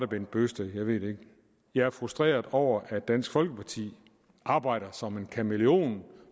bent bøgsted jeg ved det ikke jeg er frustreret over at dansk folkeparti arbejder som en kameleon